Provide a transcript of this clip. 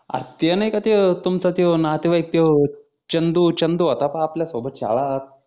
अह ते नाही का ते तोय तुमच्या तोय नातेवाईक तोय चंदू चंदू होता त्या आपल्या सोबत शाळात